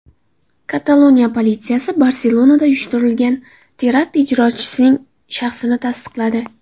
Kataloniya politsiyasi Barselonada uyushtirilgan terakt ijrochisining shaxsini tasdiqladi.